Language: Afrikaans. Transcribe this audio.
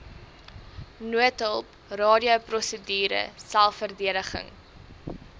noodhulp radioprosedure selfverdediging